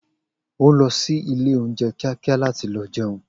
O lõsí ìlé ounjé kìákìá làtí lõ jéun